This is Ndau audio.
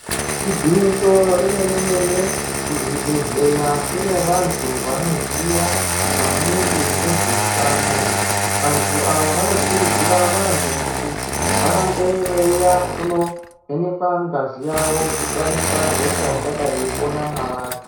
Igwinyiso remenemene kuzvibhehleya kune vantu vanoziya maningi ngezveutano vantu ava vanokurudzira vantu kuti rambe veiuya kunovhenekwa ngazi yavo kutarisa hosha ingadai yeiyi pona mwavari.